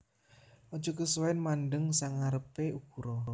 Aja kesuwen mandheng sangarepe ukura